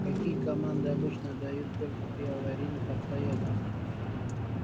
какие команды обычно отдают только при аварийных обстоятельствах